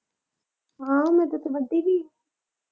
ਹਾਂ ਮੈਂ ਤੈਥੋਂ ਵੱਡੀ ਨਈਂ।